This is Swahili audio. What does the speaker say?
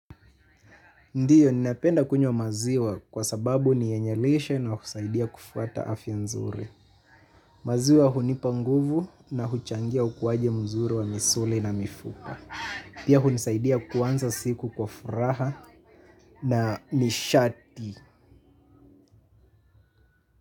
Ndio, ninapenda kunywa maziwa kwa sababu ni yenye lishe na husaidia kufuata afya nzuri. Maziwa hunipa nguvu na huchangia ukuwaji mzuri wa misuli na mifupa. Pia hunisaidia kuanza siku kwa furaha na nishati.